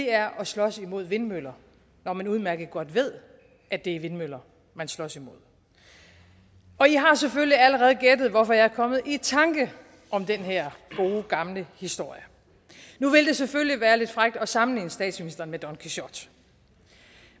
er at slås imod vindmøller når man udmærket godt ved at det er vindmøller man slås imod i har selvfølgelig allerede gættet hvorfor jeg er kommet i tanker om den her gode gamle historie nu vil det selvfølgelig være lidt frækt at sammenligne statsministeren med don quixote